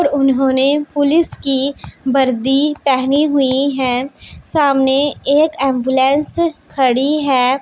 और उन्होंने पुलिस की वर्दी पहनी हुई है सामने एक एंबुलेंस खड़ी है।